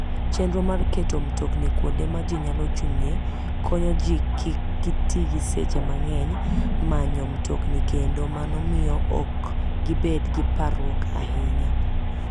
Chenro mar keto mtokni kuonde ma ji nyalo chung'ie, konyo ji kik ti gi seche mang'eny e manyo mtokni kendo mano miyo ok gibed gi parruok ahinya.